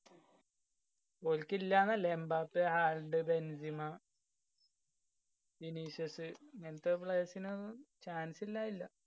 ഓല്ക്കു ഇല്ലാന്നല്ല. എമ്പാപേ ആൾഡ് ബെന്ജിമ ഇങ്ങനത്തെ players ന് chance ഇല്ലാതില്ല.